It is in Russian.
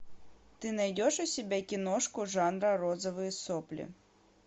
ты найдешь у себя киношку жанра розовые сопли